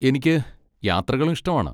എനിക്ക് യാത്രകളും ഇഷ്ടമാണ്.